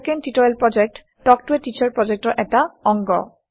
spoken tutorial প্ৰকল্প talk to a teacher প্ৰকল্পৰ এটা অংগ